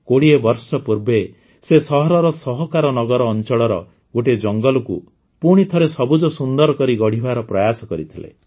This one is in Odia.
୨୦ ବର୍ଷ ପୂର୍ବେ ସେ ସହରର ସହକାର ନଗର ଅଂଚଳର ଗୋଟିଏ ଜଙ୍ଗଲକୁ ପୁଣିଥରେ ସବୁଜ ସୁନ୍ଦର କରି ଗଢ଼ିବାର ପ୍ରୟାସ କରିôଥଲେ